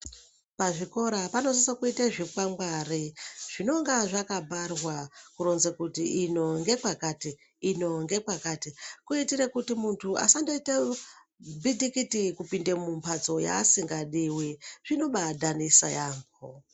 Pazvikora panosisa kuita zvikwangwari zvinonga zvakabharwa kuronze kuti ino ngekwakati, ino ngekwakati, kuitire kuti muntu asandoite bitikiti kupinde mumhatso yaasingadiwi, zvinobadanisa yaambho.